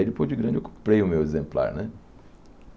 Aí depois de grande eu comprei o meu exemplar, né?